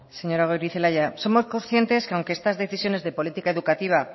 señora goirizelaia somos conscientes que aunque estas decisiones de política educativa